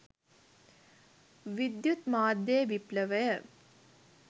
විද්‍යුත් මාධ්‍යයේ විප්ලවය